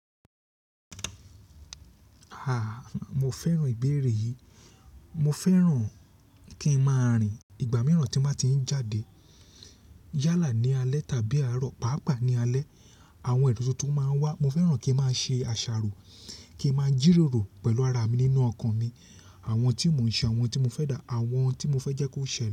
A! Mo fẹ́ràn ìbéèrè yìí. Mo fẹ́ràn kí n máa rìn. Ìgbà mìíràn tí màá ti ń jáde yálà ní alẹ́ tàbí àárọ̀, pàápàá ní alẹ́, àwọn ero tuntun máa ń wá. Mo fẹ́ràn kí a máa ṣe àṣàrò, kí a máa jíròrò pẹ̀lú ara mi nínú ọkan mi. Àwọn tí mò ń ṣe, àwọn tí mo fẹ́ dá, àwọn tí mo fẹ́ jẹ́ kó ṣe le.